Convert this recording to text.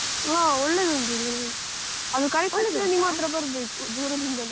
ಆ ಒಳ್ಳೆದುಂಟು ಈ name ಅದು ಕರೇದ್ತಕ್ಷ್ಣ ನಿಮ್ಮತ್ರ ಬರ್ಬೇಕು ದೂರದಿಂದಲೇ.